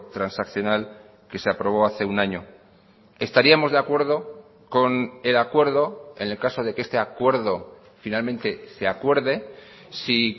transaccional que se aprobó hace un año estaríamos de acuerdo con el acuerdo en el caso de que este acuerdo finalmente se acuerde si